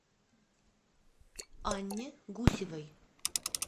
анне гусевой